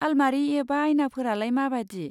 आलमारि एबा आयनाफोरालाय माबादि?